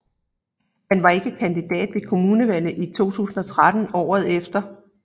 Han var ikke kandidat ved kommunalvalget 2013 året efter